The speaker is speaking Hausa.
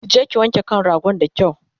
kije ki wanke kan ragon da kyau!